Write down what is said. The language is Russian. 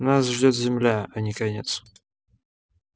нас ждёт земля а не конец